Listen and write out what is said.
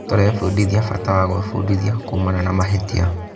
Tũrebundithia bata wa gwĩbundithia kuumana na mahĩtia.